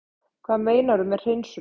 Hvað meinarðu með hreinsunum?